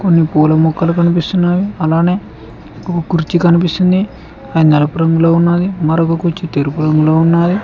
కొన్ని పూల మొక్కలు కనిపిస్తున్నావి అలానే ఒక కుర్చీ కనిపిస్తుంది అది నలుపు రంగులో ఉన్నాది మరొక కుర్చీ తెరుపు రంగులో ఉన్నాది.